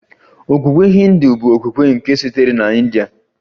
Okpukpe Hindu bụ okpukpe nke sitere na India